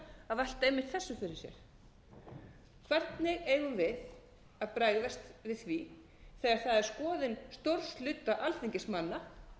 að velta einmitt þessu fyrir sér hvernig eigum við að bregðast við því þegar það er skoðun stórs hluta alþingismanna